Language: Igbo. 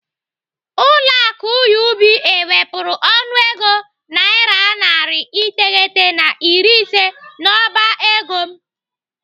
Ụlọ akụ UBA wepụrụ ọnụego naira narị iteghete na iri ise n'ọba ego m.